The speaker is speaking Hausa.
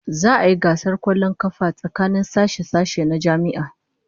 Za'a yi gasar kwallon kafa tsakanin sashe-sashe na jami'a